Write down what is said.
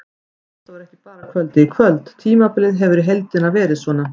Þetta var ekki bara kvöldið í kvöld, tímabilið hefur í heildina verið svona.